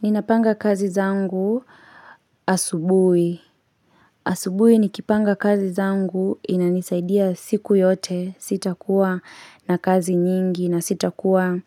Ninapanga kazi zangu asubui. Asubui nikipanga kazi zangu inanisaidia siku yote sitakuwa na kazi nyingi na sitakuwa